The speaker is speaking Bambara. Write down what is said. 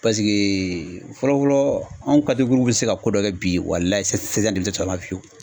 Paseke fɔlɔ fɔlɔ anw bɛ se ka ko dɔ kɛ bi walahi sisan denmisɛnnin tɛ sɔn a ma fiyewu.